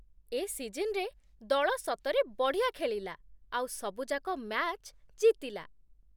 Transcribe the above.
ଏ ସିଜନ୍‌ରେ ଦଳ ସତରେ ବଢ଼ିଆ ଖେଳିଲା, ଆଉ ସବୁଯାକ ମ୍ୟାଚ୍ ଜିତିଲା ।